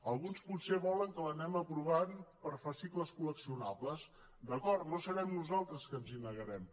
alguns potser volen que l’anem aprovant per fascicles col·leccionables d’acord no serem nosaltres que ens hi negarem